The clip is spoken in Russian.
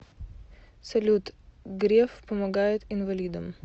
салют греф помогает инвалидам